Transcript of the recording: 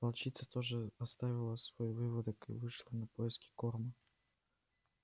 волчица тоже оставила свой выводок и вышла на поиски корма